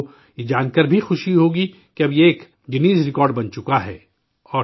آپ کو یہ جان کر بھی خوشی ہوگی کہ اب یہ ایک گنیز ریکارڈ بن چکا ہے